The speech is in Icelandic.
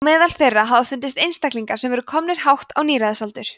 á meðal þeirra hafa fundist einstaklingar sem voru komnir hátt á níræðisaldur